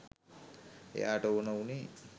එයාට ඕන වුණේ